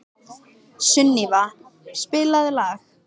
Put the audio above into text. Sunníva, spilaðu lag.